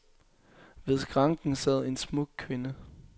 Ved skranken sad en smuk kvinde.